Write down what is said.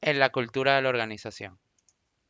en la cultura de la organización